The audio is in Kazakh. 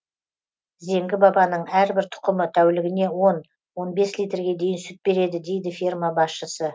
зеңгі бабаның әрбір тұқымы тәулігіне он он бес литрге дейін сүт береді дейді ферма басшысы